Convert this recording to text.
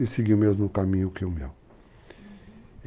E seguia o mesmo caminho que o meu. Uhum.